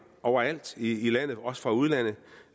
overalt i landet også fra udlandet